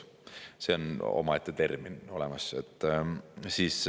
See viimane on omaette termin, mis on olemas.